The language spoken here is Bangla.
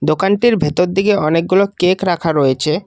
টির ভেতর দিকে অনেকগুলো কেক রাখা রয়েছে।